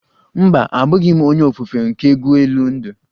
Mba, abughi m onye ofufe nke egwu elu ndụ